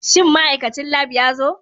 Shin ma'aikacin Lab ya zo?